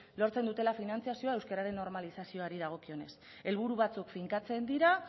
lortzen dutela finantziazioa euskeraren normalizazioari dagokionez helburu batzuk finkatzen dira